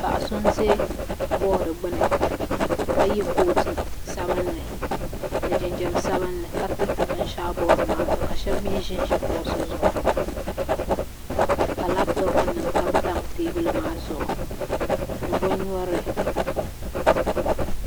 Paɣa so n ʒɛ bood gbuni ka yɛ kootu sabinli ni jinjɛm sabinli ka tiriti binshaɣu bood maa zuɣu ka shab mii ʒinʒi kuɣusi zuɣu ka labtop nim tamtam teebuli maa zuɣu ni bin nyurili